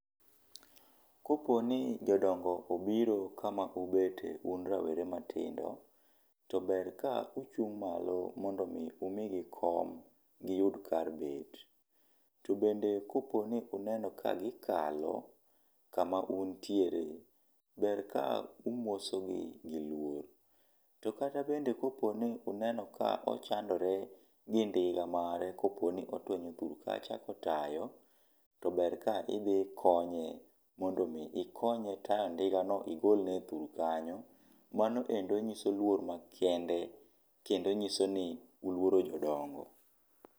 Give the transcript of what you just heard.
Koponi jodongo obiro kama ubete un rawere matindo, to ber ka uchung' malo mondo mi umigi kom giyud kar bet. To bende kopo ni unenogi ka gikalo kama untiere, ber ka umosogi gi luor. To kata bende kopo ni uneno ka ochandore gi ndiga mare koponi otwenyo thur kacha kotayo, to ber ka idhi ikonye mondo mi ikonye tayo ndigano igolne e thur kanyo. Mano endo nyiso luor makende kendo nyiso ni uluoro jodongo.